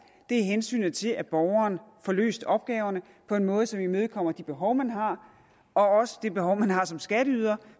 er hensynet til at borgeren får løst opgaverne på en måde som imødekommer de behov man har også det behov man har som skatteyder